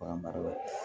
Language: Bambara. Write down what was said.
Bagan maralaw